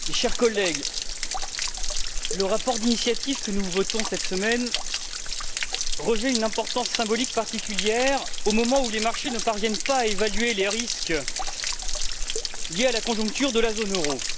Monsieur le Président, chers collègues, le rapport d'initiative sur lequel nous votons cette semaine revêt une importance symbolique particulière au moment où les marchés ne parviennent pas à évaluer les risques liés à la conjoncture de la zone euro.